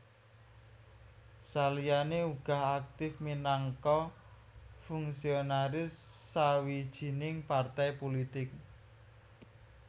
Saliyané uga aktif minangka fungsionaris sawijining partai pulitik